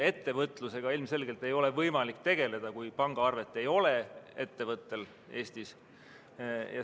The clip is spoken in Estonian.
Ettevõtlusega ilmselgelt ei ole võimalik tegeleda, kui ettevõttel ei ole Eestis pangaarvet.